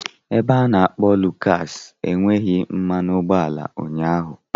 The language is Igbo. Ebe a na-akpo Lucas enweghị mmanụ ụgbọala ụnyaahụ.